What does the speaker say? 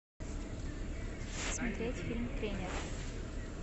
смотреть фильм тренер